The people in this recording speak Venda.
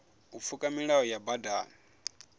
u pfuka milayo ya badani